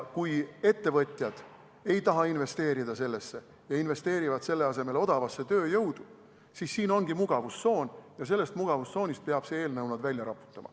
Kui ettevõtjad ei taha sellesse investeerida ja investeerivad selle asemel odavasse tööjõudu, siis siin ongi mugavustsoon, ja sellest mugavustsoonist peab see eelnõu neid välja raputama.